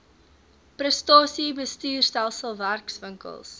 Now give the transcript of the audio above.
prestasie bestuurstelsel werkswinkels